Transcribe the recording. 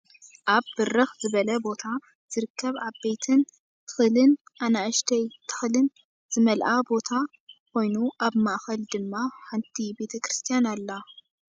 ኣብ በርክ ዝበለ ቦታ ዝርከብ ዓበይትን ትክልን ኣናእሽተይ ትክል ዝመልኣ ቦታ ኮይኑ ኣብ ማእከል ድማ ሓንቲ ቤተ ክርስትያን ኣላ ።